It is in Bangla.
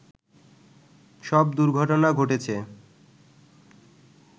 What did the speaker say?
সব দুর্ঘটনা ঘটেছে